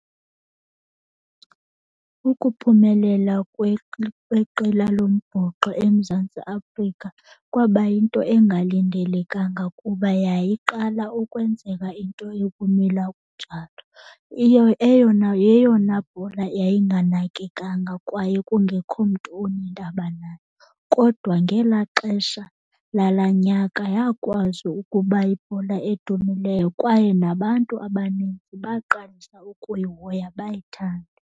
Ukuphumelela kweqela lombhoxo eMzantsi Afrika kwaba yinto engalindelekanga kuba yayiqala ukwenzeka into ekumila kunjalo. yeyona bhola yayinganakekanga kwaye kungekho mntu unendaba nayo. Kodwa ngelaa xesha lala nyaka yakwazi ukuba yibhola edumileyo kwaye nabantu abaninzi baqalisa ukuyihoya, bayithande.